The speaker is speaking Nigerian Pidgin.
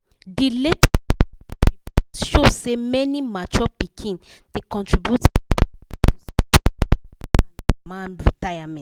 the latest money report show say many mature pikin da contribute better money to support their papa and mama retirement.